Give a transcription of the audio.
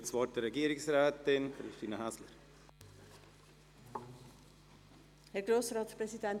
Ich gebe das Wort der Regierungsrätin, Christine Häsler.